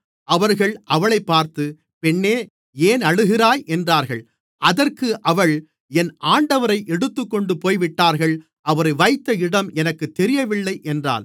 அவர்கள் அவளைப் பார்த்து பெண்ணே ஏன் அழுகிறாய் என்றார்கள் அதற்கு அவள் என் ஆண்டவரை எடுத்துக்கொண்டு போய்விட்டார்கள் அவரை வைத்த இடம் எனக்குத் தெரியவில்லை என்றாள்